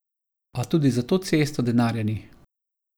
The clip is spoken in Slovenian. A tudi za to cesto denarja ni.